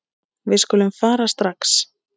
Við skulum fara strax.